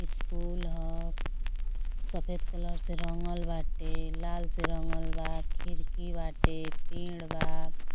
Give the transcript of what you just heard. School ह। सफेद colour से रंगल बाटे। लाल से रंगल बा। खिड़की बाटे। पेड़ बा।